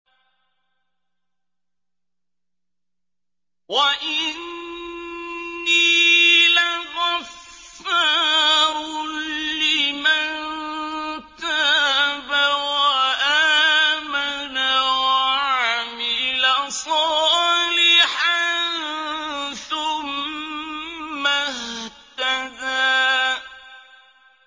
وَإِنِّي لَغَفَّارٌ لِّمَن تَابَ وَآمَنَ وَعَمِلَ صَالِحًا ثُمَّ اهْتَدَىٰ